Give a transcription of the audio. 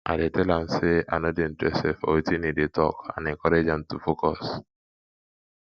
i dey tell am say i no dey interested for wetin e dey talk and encourage am to focus